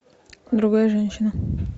другая женщина